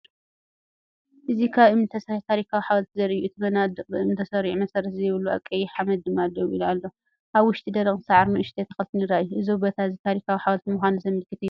እዚ ካብ እምኒ ዝተሰርሐ ታሪኻዊ ሓወልቲ ዘርኢ እዩ። እቲ መናድቕ ብእምኒ ተሰሪዑ፣ መሰረት ዘይብሉ፣ ኣብ ቀይሕ ሓመድ ድማ ደው ኢሉ ኣሎ። ኣብ ውሽጢ ደረቕ ሳዕርን ንኣሽቱ ተኽልታትን ይረኣዩ። እዚ ቦታ እዚ ታሪኻዊ ሓወልቲ ምዃኑ ዘመልክት እዩ።